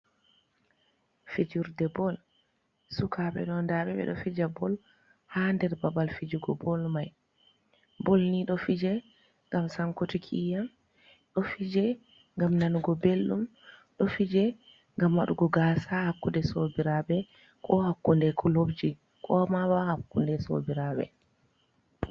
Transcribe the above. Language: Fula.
Fijirde bol, suka ɓe ɗo nda ɓe ɓe ɗo fija bol ha nder babal fijugo bol mai, bol ni ɗo fije ngam sankutiki iyam, ɗo fije gam nanugo belɗum, ɗo fije gam waɗugo gaasa hakkude sobirabe, ko hakkunde kulopji, mabo, hakkunde sobirabe.